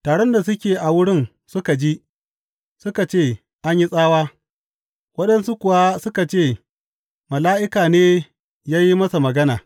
Taron da suke a wurin suka ji, suka ce an yi tsawa; waɗansu kuwa suka ce mala’ika ne ya yi masa magana.